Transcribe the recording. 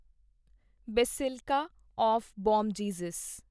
basilica of Bom Jesus